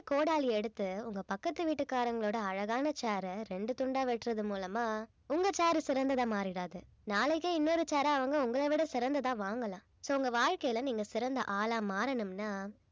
கோடாலி எடுத்து உங்க பக்கத்து வீட்டுக்காரங்களோட அழகான chair அ ரெண்டு துண்டா வெட்டுறது மூலமா உங்க chair சிறந்ததா மாறிடாது நாளைக்கே இன்னொரு chair அ அவங்க உங்களை விட சிறந்ததா வாங்கலாம் so உங்க வாழ்க்கையில நீங்க சிறந்த ஆளா மாறனும்னா